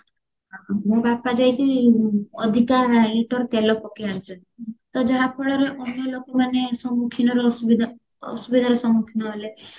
ମୋ ବାପା ଯାଇକି ଅଧିକା liter ତେଲ ପକେଇ ଆନିଚନ୍ତି ତ ଯାହା ଫଳରେ ଅନ୍ୟ ଲୋକମାନେ ସମ୍ମୁଖିନର ଅସୁବିଧା ଅସୁବିଧାର ସମ୍ମୁଖୀନ ହେଲେ